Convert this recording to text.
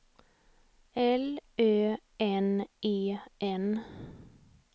L Ö N E N